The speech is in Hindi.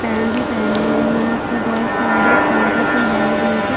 पेन्ट भी पहने है यहाँ पर बहोत सारे कागज है वाइट रंग के--